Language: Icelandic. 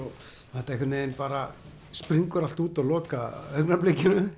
þetta einhvern veginn bara springur allt út á